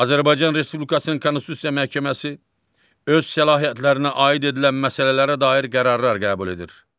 Azərbaycan Respublikasının Konstitusiya Məhkəməsi öz səlahiyyətlərinə aid edilən məsələlərə dair qərarlar qəbul edir.